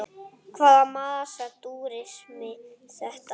Hvaða massa túrismi er þetta?